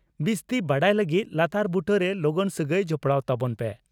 ᱵᱤᱥᱛᱤ ᱵᱟᱰᱟᱭ ᱞᱟᱹᱜᱤᱫ ᱞᱟᱛᱟᱨ ᱵᱩᱴᱟᱹᱨᱮ ᱞᱚᱜᱚᱱ ᱥᱟᱹᱜᱟᱹᱭ ᱡᱚᱯᱲᱟᱣ ᱛᱟᱵᱚᱱ ᱯᱮ ᱾